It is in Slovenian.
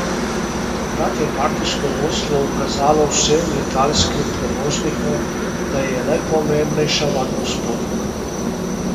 Takrat je partijsko vodstvo ukazalo vsem letalskim prevoznikom, da je najpomembnejša varnost potnikov.